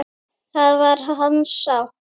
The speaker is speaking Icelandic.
Það var hans sátt!